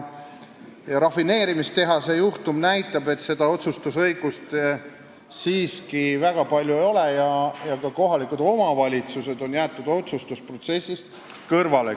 Rafineerimistehase juhtum näitab, et seda otsustusõigust siiski väga palju ei ole ja ka kohalikud omavalitsused on jäetud otsustusprotsessist kõrvale.